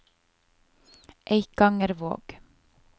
Eikangervåg